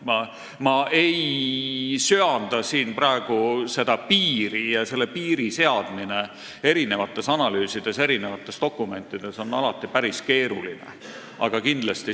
Ma ei söanda siin praegu piiri seada, sest see on alati päris keeruline.